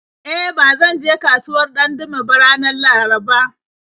E, ba zan je kasuwar Dandume ba ranar Laraba.